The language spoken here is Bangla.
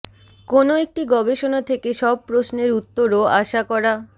কোনো একটি গবেষণা থেকে সব প্রশ্নের উত্তরও আশা করা